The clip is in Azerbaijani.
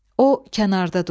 O kənarda durdu.